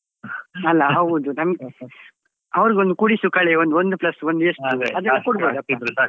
ಅಲ್ಲ ಹೌದು, ನಮ್ಗೆ ಅವ್ರಿಗೊಂದು ಕೂಡಿಸು ಕಳೆ ಒಂದ್ ಒಂದು plus ಒಂದು ಎಷ್ಟು ಅದೆಲ್ಲ.